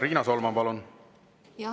Riina Solman, palun!